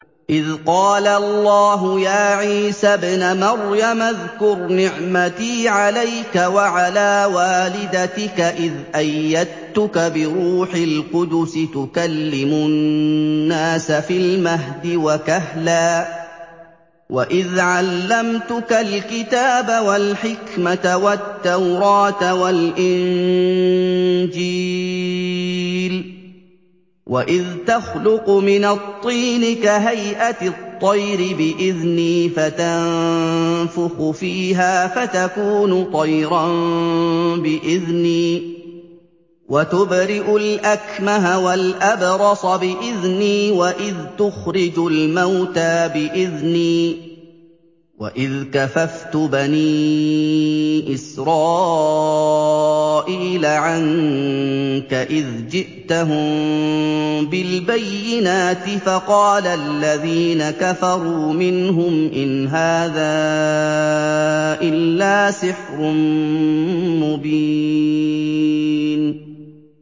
إِذْ قَالَ اللَّهُ يَا عِيسَى ابْنَ مَرْيَمَ اذْكُرْ نِعْمَتِي عَلَيْكَ وَعَلَىٰ وَالِدَتِكَ إِذْ أَيَّدتُّكَ بِرُوحِ الْقُدُسِ تُكَلِّمُ النَّاسَ فِي الْمَهْدِ وَكَهْلًا ۖ وَإِذْ عَلَّمْتُكَ الْكِتَابَ وَالْحِكْمَةَ وَالتَّوْرَاةَ وَالْإِنجِيلَ ۖ وَإِذْ تَخْلُقُ مِنَ الطِّينِ كَهَيْئَةِ الطَّيْرِ بِإِذْنِي فَتَنفُخُ فِيهَا فَتَكُونُ طَيْرًا بِإِذْنِي ۖ وَتُبْرِئُ الْأَكْمَهَ وَالْأَبْرَصَ بِإِذْنِي ۖ وَإِذْ تُخْرِجُ الْمَوْتَىٰ بِإِذْنِي ۖ وَإِذْ كَفَفْتُ بَنِي إِسْرَائِيلَ عَنكَ إِذْ جِئْتَهُم بِالْبَيِّنَاتِ فَقَالَ الَّذِينَ كَفَرُوا مِنْهُمْ إِنْ هَٰذَا إِلَّا سِحْرٌ مُّبِينٌ